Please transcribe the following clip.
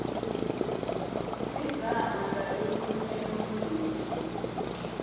ligama lalolunye lulwimi